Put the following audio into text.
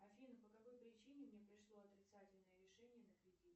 афина по какой причине мне пришло отрицательное решение на кредит